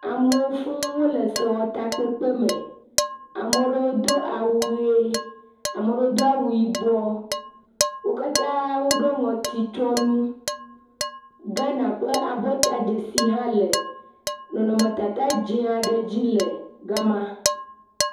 Amewo fũu wole sewɔtakpekpe me, ame ɖewo do awu ʋe, ameɖewo do awu yibɔ, wo katã woɖɔ ŋɔtu tsyɔ̃ nu. Ghana ƒe abɔta dzesi hã le nɔnɔmetata dzɛ̃ aɖe dzi le gama.